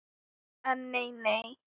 En nei nei.